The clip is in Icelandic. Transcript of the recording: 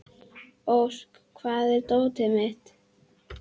Ósk, hvar er dótið mitt?